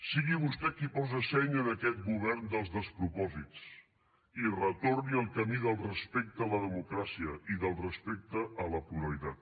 sigui vostè qui posa seny en aquest govern dels despropòsits i retorni al camí del respecte a la democràcia i del respecte a la pluralitat